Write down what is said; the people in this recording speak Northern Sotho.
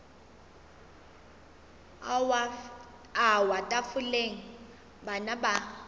a wa tafoleng bana ba